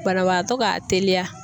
Banabagatɔ ka teliya.